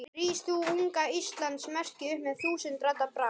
Rís þú, unga Íslands merki, upp með þúsund radda brag.